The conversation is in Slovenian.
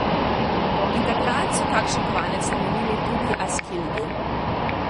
In takrat so kakšen kovanec namenili tudi Askildu.